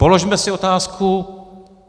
Položme si otázku.